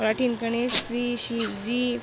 अठीने गणेश जी शिव जी--